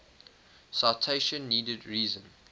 citation needed reason